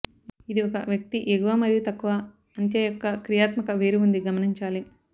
ఇది ఒక వ్యక్తి ఎగువ మరియు తక్కువ అంత్య యొక్క క్రియాత్మక వేరు ఉంది గమనించాలి